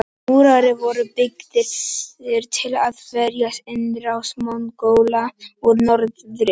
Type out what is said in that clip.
Múrarnir voru byggðir til að verjast innrás Mongóla úr norðri.